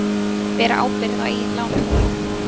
Bera ábyrgð á eigin lánum